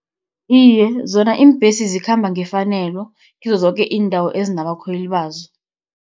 Iye, zona iimbesi zikhamba ngefanelo, kizozoke iindawo ezinabakhweli bazo.